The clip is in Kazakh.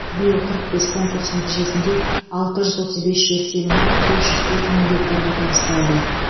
биыл қырық бес конкурс нәтижесінде алты жүз отыз бес жер телімі бес жүз төрт мың гектарға табысталды